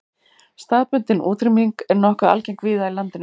Staðbundin útrýming er nokkuð algeng víða í landinu.